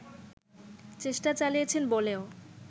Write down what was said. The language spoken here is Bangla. চেষ্টা চালিয়েছেন বলেও